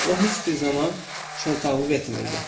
O heç bir zaman şıltaqlıq etmirdi.